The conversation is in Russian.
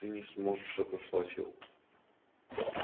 ты не сможешь отослать его